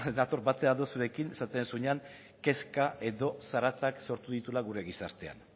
nator batere ados zuekin esaten duzunean kezka edo zarata sortu dituela gure gizartean